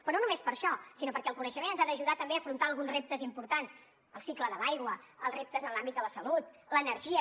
però no només per això sinó perquè el coneixement ens ha d’ajudar també a afrontar alguns reptes importants el cicle de l’aigua els reptes en l’àmbit de la salut l’energia